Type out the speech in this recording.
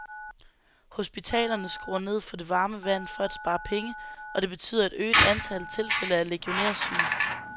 Hospitalerne skruer ned for det varme vand for at spare penge, og det betyder et øget antal tilfælde af legionærsyge.